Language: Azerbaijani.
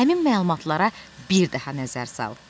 Həmin məlumatlara bir daha nəzər sal.